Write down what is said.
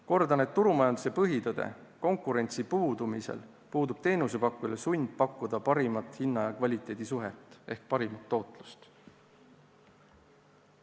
Kordan turumajanduse põhitõde: konkurentsi puudumise korral puudub teenusepakkujal sund pakkuda parimat hinna ja kvaliteedi suhet ehk parimat tootlust.